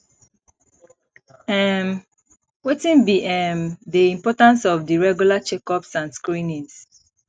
um wetin be um di importance of di regular checkups and screenings